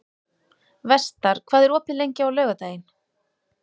Vestar, hvað er opið lengi á laugardaginn?